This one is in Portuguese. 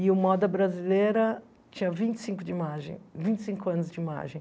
E o moda brasileira tinha vinte e cinco de imagem, vinte e cinco anos de imagem.